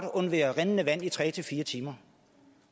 undvære rindende vand i tre fire timer